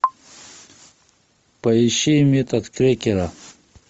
поищи метод крекера